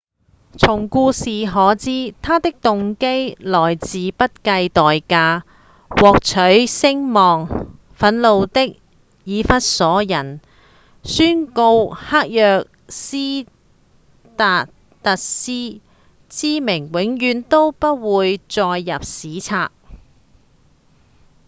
從故事可知他的動機來自不計代價獲取聲望憤怒的以弗所人宣告黑若斯達特斯之名永遠都不會載入史冊